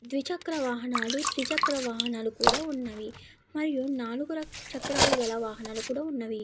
ద్వి చక్ర వాహనాలు త్రి చక్ర వాహనాలు కూడా ఉన్నవి. అలాగే నాలుగు చక్రాల గల వాహనాలు కూడా ఉన్నవి.